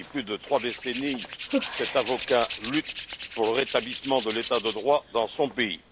Depuis plus de trois décennies, cet avocat lutte pour le rétablissement de l'état de droit dans son pays.